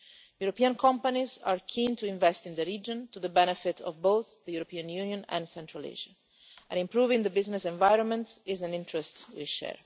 European companies are keen to invest in the region, to the benefit of both the European Union and Central Asia, and improving the business environment is an interest we share.